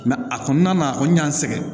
a kɔnɔna na a kɔni y'an sɛgɛn